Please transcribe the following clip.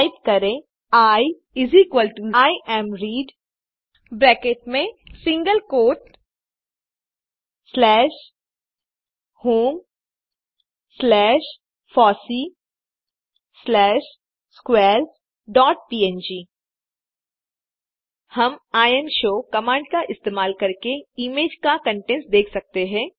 type करें Iimread bracket में single quote slash home slash fossee slash squares dot png हम imshow command का इस्तेमाल करके इमेज का कंटेंट्स देख सकते हैं